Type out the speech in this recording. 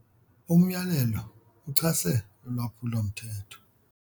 Umyalelo uchase ulwaphulomthetho.